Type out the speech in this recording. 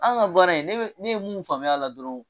An ka baara yen ne be, ne ye mun faamuyara dɔrɔn